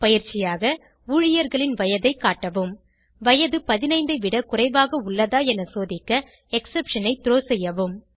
பயிற்சியாக ஊழியர்களின் வயதை காட்டவும் வயது 15 ஐ விட குறைவாக உள்ளதா என சோதிக்க எக்ஸெப்ஷன் ஐ த்ரோ செய்யவும்